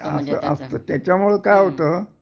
असा असतं त्याच्यामुळं काय होतं